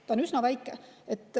See on üsna väike.